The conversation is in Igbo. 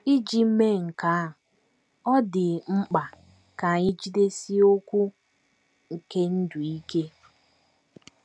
Iji mee nke a, ọ dị mkpa ka anyị ‘ jidesie okwu nke ndụ ike. ’